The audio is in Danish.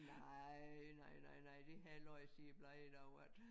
Nej nej nej nej det havde jeg læst i et blad en dag at